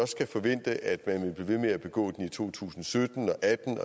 skal forvente at man vil med at begå den i to tusind og sytten